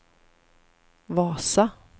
Vasa